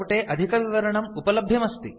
अस्य प्रतेः अनुवादकर्त्री संस्कृतभारती अस्ति